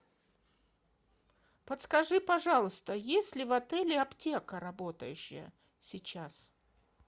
подскажи пожалуйста есть ли в отеле аптека работающая сейчас